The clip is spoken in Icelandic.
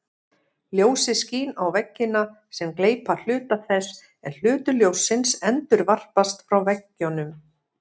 Ljósið skín á veggina sem gleypa hluta þess en hluti ljóssins endurvarpast frá veggjunum.